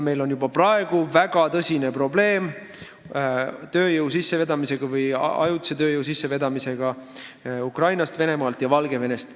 Meil on juba praegu väga tõsine probleem tööjõu või ajutise tööjõu sissevedamise tõttu Ukrainast, Venemaalt ja Valgevenest.